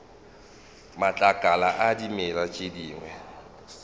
matlakala a dimela tše dingwe